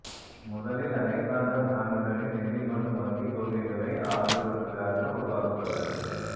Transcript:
முதலில் அலெக்ஸாண்டர் ஹாமில்டனின் நிதி மற்றும் வங்கி கொள்கைகளை ஆதரிப்பதற்காக உருவாக்கப்பட்டது